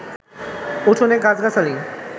উঠোনে গাছগাছালি